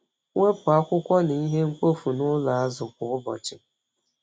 Wepụ akwụkwọ na ihe mkpofu n’ụlọ azụ kwa ụbọchị.